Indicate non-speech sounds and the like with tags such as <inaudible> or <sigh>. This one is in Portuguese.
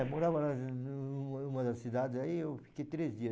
É, morava <unintelligible> numa das cidades, aí eu fiquei três dias.